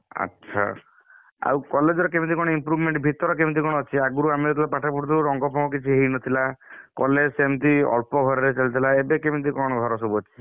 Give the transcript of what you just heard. ଆଛା, ଆଉ college ର କେମିତି କଣ improvement ଭିତର କେମିତି କଣ ଅଛି? ଆଗରୁ ଆମେ ଯେତବେଳେ ପାଠ ପଢୁଥିଲୁ ରଙ୍ଗ ଫଙ୍ଗ କିଛି ହେଇନଥିଲା, college ସେମତି ଅଳ୍ପ ଘରରେ ଚାଲି ଥିଲାଏବେ କେମିତି କଣ ଘର ସବୁ ଅଛି?